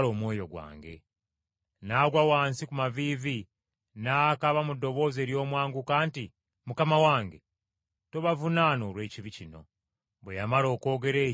N’agwa wansi ku maviivi n’akaaba mu ddoboozi ery’omwanguka nti, “Mukama wange, tobavunaana olw’ekibi kino.” Bwe yamala okwogera ekyo, n’afa.